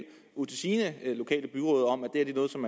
ud til sine